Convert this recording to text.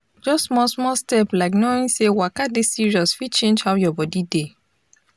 just small small step like knowing say waka dey serious fit change how your body dey